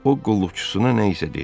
O qulluqçusuna nə isə dedi.